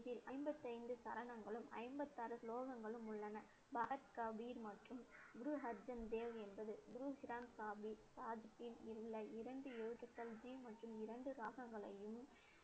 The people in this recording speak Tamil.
இதில் ஐம்பத்தி ஐந்து சரணங்களும் ஐம்பத்தி ஆறு ஸ்லோகங்களும் உள்ளன. பகத் கபீர் மற்றும் குரு அர்ஜன் தேவ் என்பது குரு கிரந்த சாஹிப் இரண்டு எழுத்துக்கள் ஜி மற்றும் இரண்டு ராகங்களையும்,